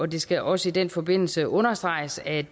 det skal også i den forbindelse understreges at